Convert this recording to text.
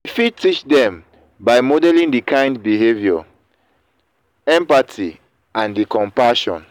i fit teach dem by modeling di kind behavior empathy and di compassion.